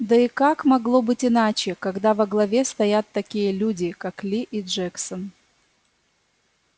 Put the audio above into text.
да и как могло быть иначе когда во главе стоят такие люди как ли и джексон